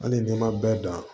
Hali n'i ma bɛɛ dan